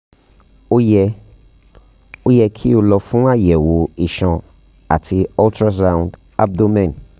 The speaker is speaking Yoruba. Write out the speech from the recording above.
o yẹ o yẹ ki o lọ fun ayẹwo iṣan ati ultrasound abdomen